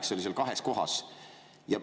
See oli seal kahes kohas.